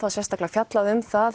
er sérstaklega fjallað um það